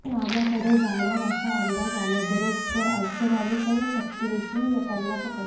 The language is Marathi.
त्या नमाकडे जाणार असा अंदाज आल्याबरोब्बर अर्चनाने सर्व शक्तीनिशी त्यांना पकडले